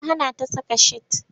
Ya hana ta saka skirt.